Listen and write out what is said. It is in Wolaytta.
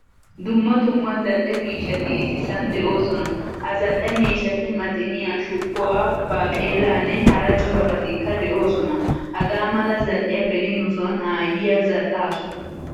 Dumma dumma zal'ee miishshati issisan deosona. Ha zal'ee miishshati maxiniyaa shuqquwaa baaqelaanne hara corabatikkaa deosona. Hagaa mala zal'iyaa beni nusoni aayiya zal'aasu.